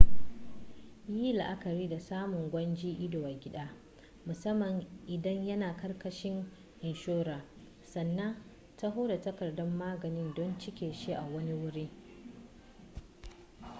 yi la'akari da samun gwajin ido a gida musamman idan yana ƙarkashin inshora sannan taho da takardar maganin don cike shi a wani wuri